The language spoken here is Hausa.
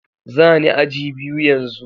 Zani aji biyu yanzu.